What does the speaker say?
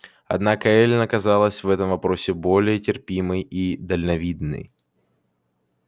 однако эллин оказалась в этом вопросе более терпимой и дальновидной